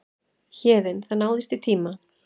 Héðinn: Það náðist í tíma?